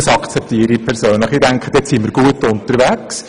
Das akzeptiere ich persönlich und denke, nun sind wir gut unterwegs.